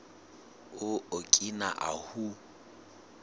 o okina ahu